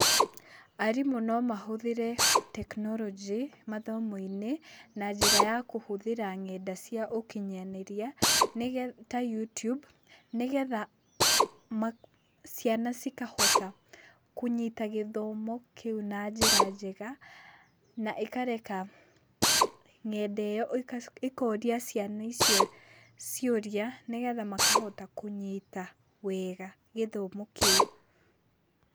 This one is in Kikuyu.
Arimũ no mahũthĩre tekinoronjĩ mathomo-inĩ, na njĩra ya kũhũthĩra ng'enda cia ũkinyanĩria ta YouTube , nĩgetha ciana cikahota kũnyita gĩthomo kĩũ na njĩra njega, na ĩkareka ng'enda ĩyo ĩkoria ciana icio ciũria nĩgetha makahota kũnyita wega gĩthomo kĩu.